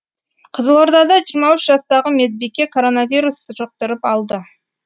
қызылорда да жиырма үш жастағы медбике коронавирус жұқтырып алды